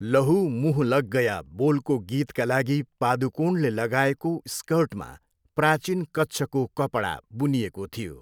लहु मुँह लग गया बोलको गीतका लागि पादुकोणले लगाएको स्कर्टमा प्राचीन कच्छको कपडा बुनिएको थियो।